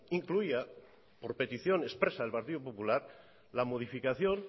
incluía por petición expresa del partido popular la modificación